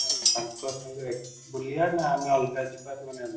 ବୁଲିବା ନା ଆମେ ଅଲଗା ଯିବା |